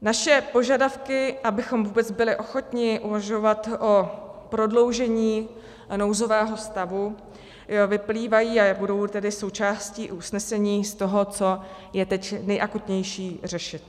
Naše požadavky, abychom vůbec byli ochotni uvažovat o prodloužení nouzového stavu, vyplývají, a budou tedy součástí usnesení, z toho, co je teď nejakutnější řešit.